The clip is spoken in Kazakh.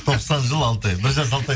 тоқсан жыл алты ай бір жас алты ай